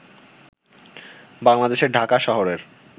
বাংলাদেশের ঢাকা শহরের